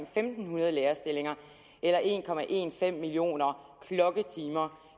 fem hundrede lærerstillinger eller en millioner klokketimer